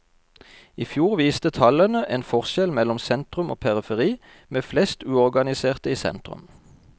I fjor viste tallene en forskjell mellom sentrum og periferi, med flest uorganiserte i sentrum.